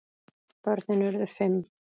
Börnin urðu fimm.